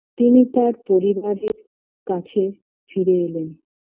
তিনি তার পরিবারের কাছে ফিরে এলেন